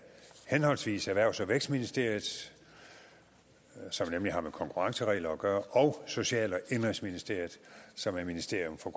henholdsvis erhvervs og vækstministeriets som nemlig har med konkurrenceregler gøre og social og indenrigsministeriets som er ministerium for